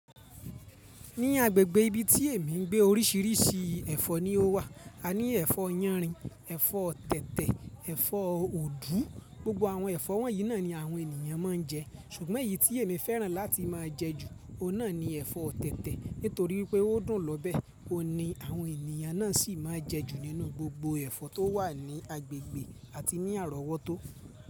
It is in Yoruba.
Ní agbègbè ibi tí èmi ń gbé orísìírísìí ẹ̀fọ́ ni ó wà. A ní ẹ̀fọ́ yánrin, ẹ̀fọ́ tẹ̀tẹ̀, ẹ̀fọ́ òdú. Gbogbo àwọn ẹ̀fọ́ wọ̀nyí náà ni àwọn ènìyàn máa ń jẹ ṣùgbọ́n èyí tí èmi fẹ́ràn láti máa jẹ jù, òun náà ni ẹ̀fọ́ tẹ̀tẹ̀ nítorí pé ó dùn lọ́bẹ̀. Òun ni àwọn ènìyàn náà sì máa ń jẹ jù nínú gbogbo ẹ̀fọ́ tó wà ní agbègbè àti ní àrọ̀wọ́tó.